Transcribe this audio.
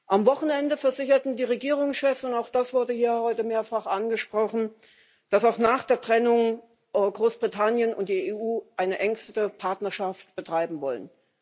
Am Wochenende versicherten die Regierungschefs auch das wurde hier heute mehrfach angesprochen dass auch nach der Trennung Großbritannien und die EU eine möglichst enge Partnerschaft betreiben wollen.